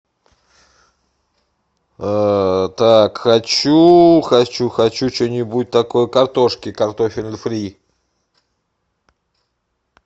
так хочу хочу хочу что нибудь такое картошки картофель фри